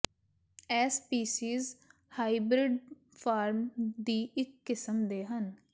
ਇਹ species hybrid form ਦੀ ਇੱਕ ਕਿਸਮ ਦੇ ਹਨ